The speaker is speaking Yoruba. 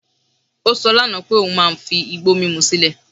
Ó sọ lánàá pé òun máa fi igbó mímú sílẹ̀